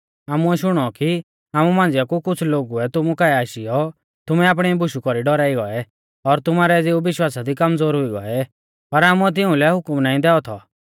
आमुऐ शुणौ कि आमु मांझ़िया कु कुछ़ लोगुऐ तुमु काऐ आशीयौ तुमै आपणी बुशु कौरी डौराई गौऐ और तुमारै ज़िऊ विश्वासा दी कमज़ोर हुई गौऐ पर आमुऐ तिउंलै हुकम नाईं दैऔ थौ